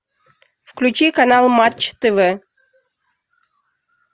включи канал матч тв